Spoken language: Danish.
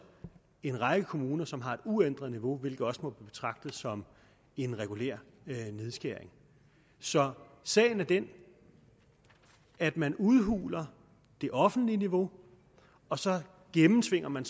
en række kommuner som har et uændret niveau hvilket også må betragtes som en regulær nedskæring så sagen er den at man udhuler det offentlige niveau og så gennemtvinger man